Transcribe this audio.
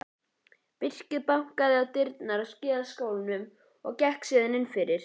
Birkir bankaði á dyrnar á skíðaskálanum og gekk síðan innfyrir.